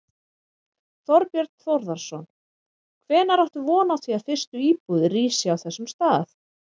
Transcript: Þorbjörn Þórðarson: Hvenær áttu von á því að fyrstu íbúðir rísi á þessum stað?